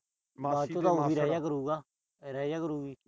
ਮਾਸੀ ਕੋਲ ਵੀ ਰਹਿ ਜਿਆ ਕਰੂਗਾ। ਅਹ ਰਹਿ ਜਿਆ ਕਰੂਗੀ।